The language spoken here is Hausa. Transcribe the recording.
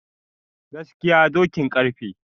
gaskiya dokin karfe